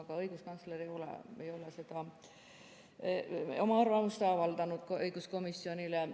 Aga õiguskantsler ei ole oma arvamust avaldanud õiguskomisjonile.